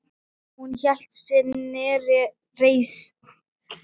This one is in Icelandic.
Hún hélt sinni reisn.